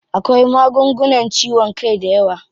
Akwai magungunan ciwon kai dayawa.